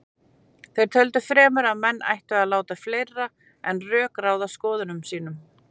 Þeir töldu fremur að menn ættu að láta fleira en rök ráða skoðunum sínum.